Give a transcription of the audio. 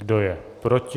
Kdo je proti?